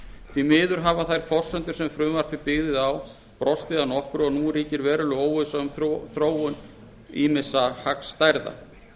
því miður hafa þær forsendur sem frumvarpið byggði á brostið að nokkru og nú ríkir veruleg óvissa um þróun ýmissa hagstærða